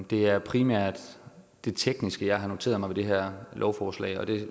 det er primært det tekniske jeg har noteret mig ved det her lovforslag og det